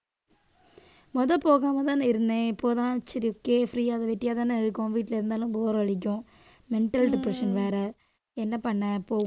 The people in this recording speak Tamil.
முத போகாமதானே இருந்தேன். இப்பதான் சரி okay free ஆ அது வெட்டியாதானே இருக்கோம். வீட்டுல இருந்தாலும் bore அடிக்கும் mental depression வேற என்ன பண்ண போ